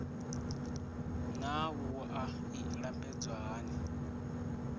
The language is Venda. naa wua i lambedzwa hani